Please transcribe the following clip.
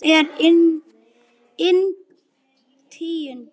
Glitnir er inn tíundi